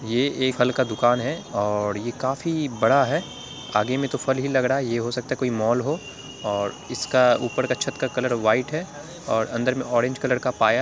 यह एक फल का दुकान है और यह काफी बड़ा है | आगे मैं तो फल ही लग रहा है यह हो सकता हो कोई माल हो और इसके ऊपर का छत का कलर व्हाइट है और उन्डर मैं ऑरेंज कलर का पाया --